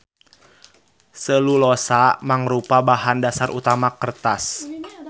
Selulosa mangrupa bahan dasar utama kertas.